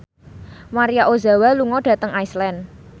Maria Ozawa lunga dhateng Iceland